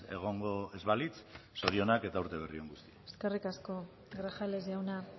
egongo ez balitz zorionak eta urte berri on guztioi eskerrik asko grajales jauna